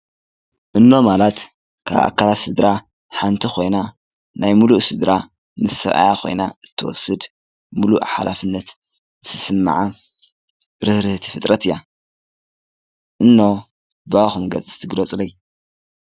እኖ ማለት ካብ እካላት ስድራ ሓንቲ ኮይና፣ ናይ ሙሉእ ስድራ ምስ ሰባኣያ ኮይና አትወስድ ምሉእ ሓላፊነት ዝስምዓ ርህርህቲ ፍጥረት አያ። እኖ በአኩም ገጽ እስቲ ግለጹለይ?